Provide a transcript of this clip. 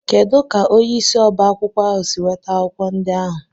Kedu ka onye isi oba akwukwo ahu si nweta akwụkwọ ndị ahụ?